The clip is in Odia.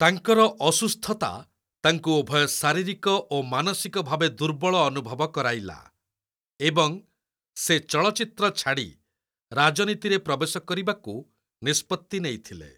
ତାଙ୍କର ଅସୁସ୍ଥତା ତାଙ୍କୁ ଉଭୟ ଶାରୀରିକ ଓ ମାନସିକ ଭାବେ ଦୁର୍ବଳ ଅନୁଭବ କରାଇଲା ଏବଂ ସେ ଚଳଚ୍ଚିତ୍ର ଛାଡ଼ି ରାଜନୀତିରେ ପ୍ରବେଶ କରିବାକୁ ନିଷ୍ପତ୍ତି ନେଇଥିଲେ।